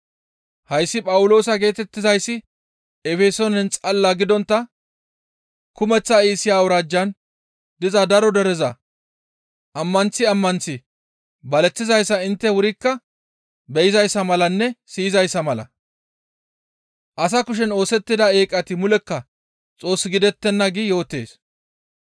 Hayssi Phawuloosa geetettizayssi Efesoonen xalla gidontta kumeththa Iisiya awuraajjan diza daro dereza ammanththi ammanththi baleththizayssa intte wurikka be7izayssa malanne siyizayssa mala, ‹Asa kushen oosettida eeqati mulekka Xoos gidettenna› gi yootees.